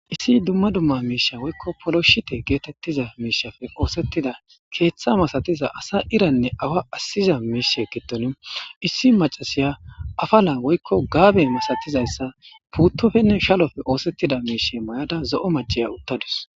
Issi dumma dumma miisha woykko poloshite geetettiza miishafe oosettida keeththa masatiza asa iranne awa assiza miishe geddoni issi macasiya afala woykko gaabe misatizayssa puuttofenne shalofe oosettida miishe mayada zo'o maceya uttadus.